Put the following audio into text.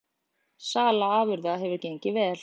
Sala afurða hefur gengið vel